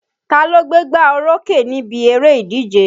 Ta ló gbégbá orókè níbi eré ìdíje?